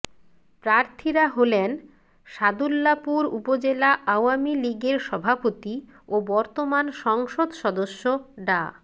প্রার্থীরা হলেন সাদুল্যাপুর উপজেলা আওয়ামী লীগের সভাপতি ও বর্তমান সংসদ সদস্য ডা